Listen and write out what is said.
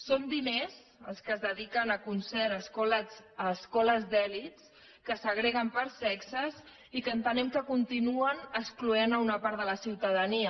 són diners els que es dediquen a concert a escoles d’elits que segreguen per sexes i que entenem que continuen excloent una part de la ciutadania